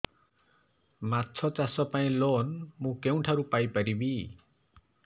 ମାଛ ଚାଷ ପାଇଁ ଲୋନ୍ ମୁଁ କେଉଁଠାରୁ ପାଇପାରିବି